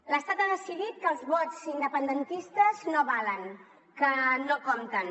l’estat ha decidit que els vots independentistes no valen que no compten